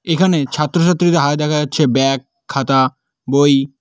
এখানে ছাত্রছাত্রীদের হাতে দেখা যাচ্ছে ব্যাগ খাতা বই।